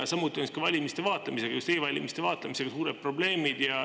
Ka valimiste vaatlemisega, just e-valimiste vaatlemisega onsuured probleemid.